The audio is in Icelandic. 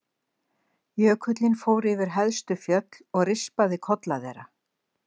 Jökullinn fór yfir hæstu fjöll og rispaði kolla þeirra.